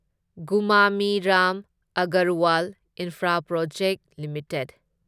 Gumani Ram Agarwal infraprojects limited